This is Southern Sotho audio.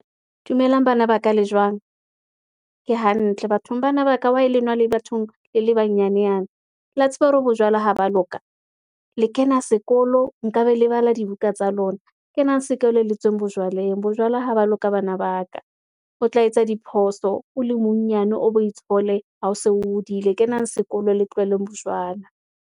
Dumelang bana ba ka le jwang? Ke hantle bathong bana ba ka wa lenwa le bathong, le banyane yana, la tseba hore bojwala ha ba loka, le kena sekolo, nka be lebala di ka tsa lona. Kenang sekolo le tsweng bojwaleng, bojwala ha ba loka bana ba ka, o tla etsa diphoso, o le monyane, o bo itshole ha o se o hodile, Kenang sekolo le tloheleng bojwala.